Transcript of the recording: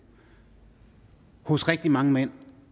hos rigtig mange mænd